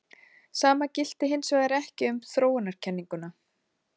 Sama gilti hins vegar ekki um þróunarkenninguna.